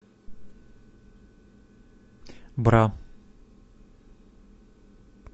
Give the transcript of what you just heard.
бра